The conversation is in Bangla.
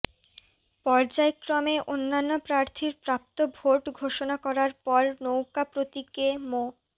পর্যায়ক্রমে অন্যান্য প্রার্থীর প্রাপ্ত ভোট ঘোষণা করার পর নৌকা প্রতীকে মো